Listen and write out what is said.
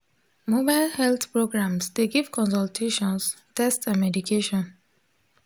mobile health programs dey give consultations test and medication.